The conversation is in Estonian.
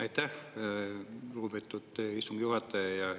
Aitäh, lugupeetud istungi juhataja!